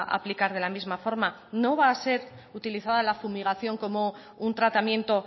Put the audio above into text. a aplicar de la misma forma no va a ser utilizada la fumigación como un tratamiento